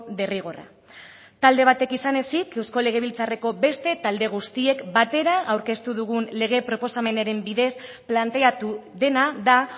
derrigorra talde batek izan ezik eusko legebiltzarreko beste talde guztiek batera aurkeztu dugun lege proposamenaren bidez planteatu dena da